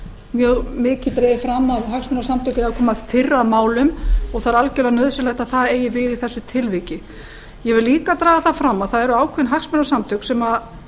mjög mikið dregið fram að hagsmunasamtök eigi að koma fyrr að málum og það er algerlega nauðsynlegt að það eigi við í þessu tilviki ég vil líka draga það fram að það eru ákveðin hagsmunasamtök sem